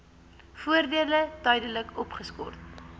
voordele tydelik opgeskort